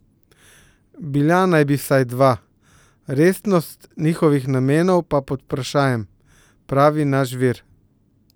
Bila naj bi vsaj dva, resnost njihovih namenov pa pod vprašajem, pravi naš vir.